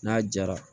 N'a jara